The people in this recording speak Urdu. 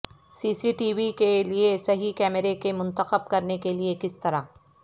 سی سی ٹی وی کے لئے صحیح کیمرے کے منتخب کرنے کے لئے کس طرح